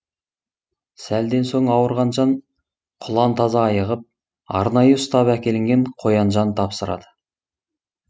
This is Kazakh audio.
сәлден соң ауырған жан құлан таза айығып арнайы ұстап әкелінген қоян жан тапсырады